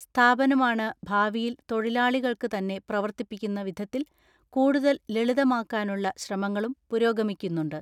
സ്ഥാപനമാണ് ഭാവിയിൽ തൊഴിലാളികൾക്ക് തന്നെ പ്രവർത്തിപ്പിക്കുന്ന വിധത്തിൽ കൂടുതൽ ലളിതമാക്കാനുള്ള ശ്രമങ്ങളും പുരോഗമിക്കുന്നുണ്ട്.